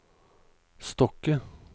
Stokke